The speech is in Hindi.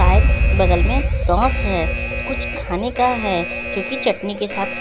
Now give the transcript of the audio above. शायद बगल में सॉस है। कुछ खाने का है जो कि चटनी के साथ--